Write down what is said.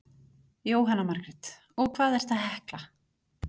Jóhanna Margrét: Og hvað ertu að hekla?